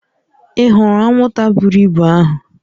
Ị hụrụ anwụnta buru ibu ahụ?